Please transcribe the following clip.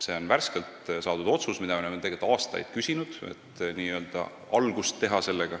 See on värskelt saadud otsus, mida me oleme tegelikult aastaid küsinud, et saaks selle tööga algust teha.